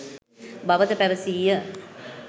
බවද පැවසීය.